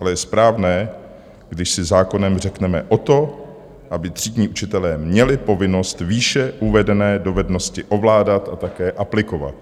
Ale je správné, když si zákonem řekneme o to, aby třídní učitelé měli povinnost výše uvedené dovednosti ovládat a také aplikovat.